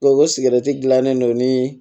o sigɛrɛti gilannen don ni